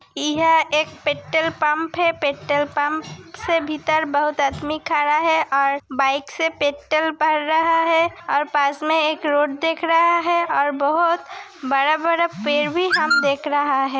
इह एक petrol pump है पेट्रोल पंप से भीतर बहुत आदमी खड़ा है और बाइक से पेट्रोल भर रहा है और पासमे एक रोड दिख रहा है और बहुत बड़ा-बड़ा पेड़ भी हम देख रहा है।